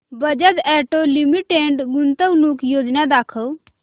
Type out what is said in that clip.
Bajaj auto limited गुंतवणूक योजना दाखव